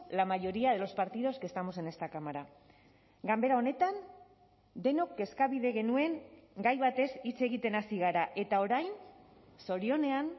la mayoría de los partidos que estamos en esta cámara ganbera honetan denok kezkabide genuen gai batez hitz egiten hasi gara eta orain zorionean